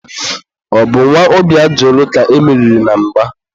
ọ bụ nwa Obiajulu ka e meriri na mgba.